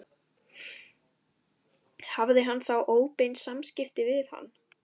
Hafði hann þá óbein samskipti við hann?